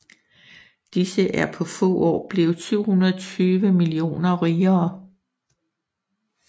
Disse er på få år blevet 720 millioner rigere